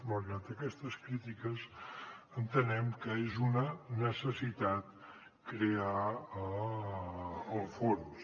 malgrat aquestes crítiques entenem que és una necessitat crear el fons